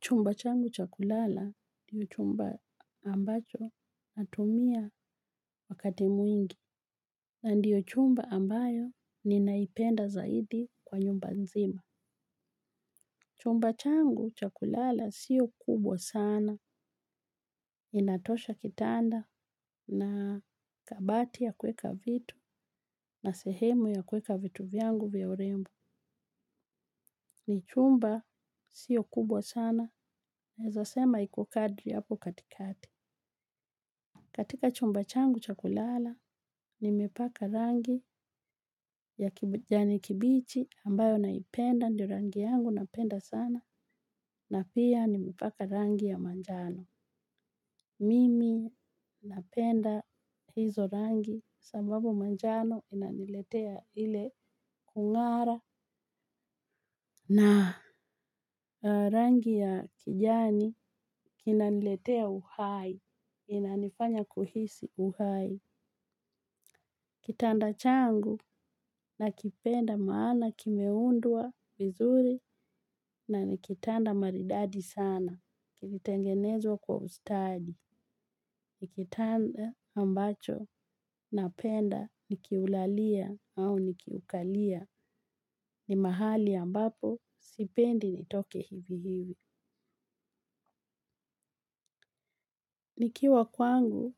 Chumba changu cha kulala diyo chumba ambacho natumia wakati mwingi. Na ndiyo chumba ambayo ninaipenda zaidi kwa nyumba nzima. Chumba changu cha kulala siyo kubwa sana. Inatosha kitanda na kabati ya kuweka vitu na sehemu ya kuweka vitu vyangu vya urembo. Ni chumba siyo kubwa sana. Naeza sema iko kadri hapo katikati. Katika chumba changu cha kulala, nimepaka rangi ya kijani kibichi ambayo naipenda, ndio rangi yangu napenda sana, na pia nimepaka rangi ya manjano. Mimi napenda hizo rangi, sababu manjano inaniletea ile kung'ara, na rangi ya kijani inaniletea uhai, inanifanya kuhisi uhai. Kitanda changu nakipenda maana kimeundwa vizuri na ni kitanda maridadi sana. Kilitengenezwa kwa ustadi. Nikitanda ambacho napenda nikiulalia au nikiukalia ni mahali ambapo sipendi nitoke hivi hivi. Nikiwa kwangu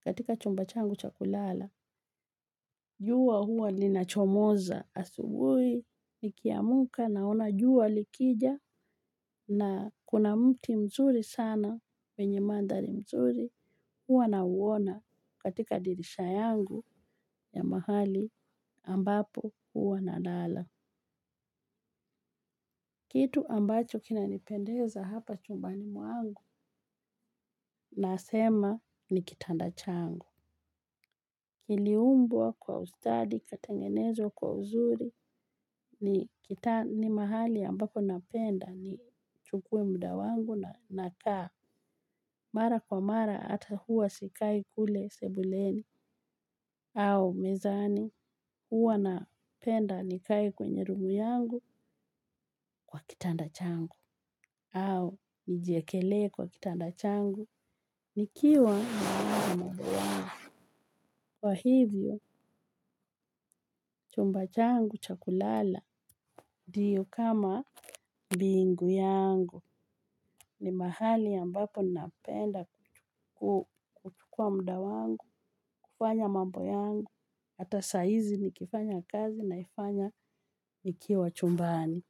katika chumba changu cha kulala. Jua hua nina chomoza asubuhi nikiamka naona jua likija na kuna mti mzuri sana wenye mandhari mzuri hua na uona katika dirisha yangu ya mahali ambapo hua nalala. Kitu ambacho kina nipendeza hapa chumbani mwangu nasema ni kitanda changu. Iliumbwa kwa ustadi kikatengenezwa kwa uzuri ni mahali ambapo napenda ni chukue muda wangu nakaa. Mara kwa mara hata huwa sikai kule sebuleni au mezani huwa napenda nikae kwenye room yangu kwa kitanda changu. Au nijiekelee kwa kitanda changu nikiwa "Too much noise" kwa hivyo chumba changu cha kulala diyo kama mbingu yangu ni mahali ambapo napenda kuchukua muda wangu kufanya mambo yangu hata saa hizi nikifanya kazi naifanya nikiwa chumbani.